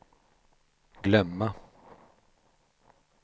glömma